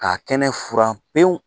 Ka a kɛnɛfuran pewu